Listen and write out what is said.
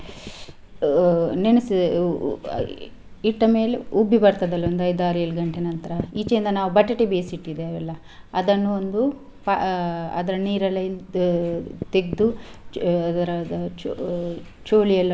ಆ ನೆನೆಸಿ ಇಟ್ಟ ಮೇಲೆ ಉಬ್ಬಿ ಬರ್ತದಲ್ಲ ಒಂದ್ ಐದಾರು ಏಳು ಗಂಟೆ ನಂತ್ರ ಈಚೆಯಿಂದ ನಾವು ಬಟಾಟೆ ಬೇಯಿಸಿ ಇಟ್ಟಿದ್ದೆವಲ್ಲ ಅದನ್ನು ಒಂದು ಆ ಅದ್ರ ನೀರೆಲ್ಲ ಇಳ್ದು ತೆಗ್ದು ಚೂ~ ಚೂ~ ಚೂಳಿ ಯೆಲ್ಲಾ.